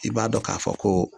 I b'a dɔn k'a fɔ ko